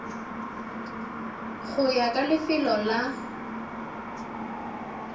go ya ka lefelo la